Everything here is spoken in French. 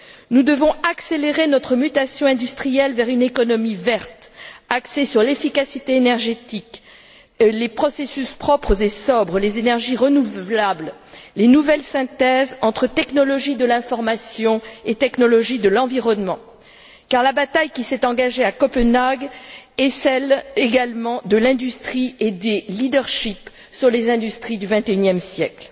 Nous devons accélérer notre mutation industrielle vers une économie verte, axée sur l'efficacité énergétique, les processus propres et sobres, les énergies renouvelables, les nouvelles synthèses entre technologies de l'information et technologies de l'environnement, car la bataille qui s'est engagée à Copenhague est celle également de l'industrie et des leaderships sur les industries du XXI e siècle.